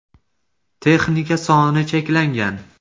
Texnika soni cheklangan .